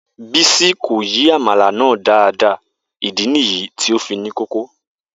Bisi ko yi amala naa daadaa idi niyi ti o fi ni odidi.